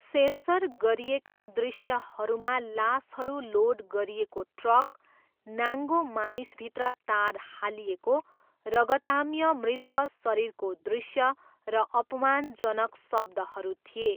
Sensor गरिएका दृश्यहरूमा लासहरू लोड गरिएको ट्रक, नाङ्गो मानिसभित्र तार हालिएको, रगताम्य मृत शरीरको दृश्य र अपमानजनक शब्दहरू थिए।